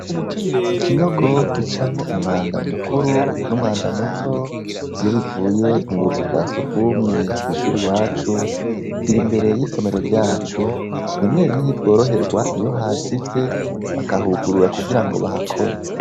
Ikinogo gicamwo umwanda mukuru numwana muto iyo bivuye mubuzu bwa sugumwe kwishuri iwacu kiri impande y'isomero ryacu rimwe rimwe ntitworoherwa iyo cazivye bakugurura kugira ngo bagikore.